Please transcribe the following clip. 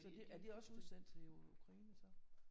Så det er de også udsendt til Ukraine så?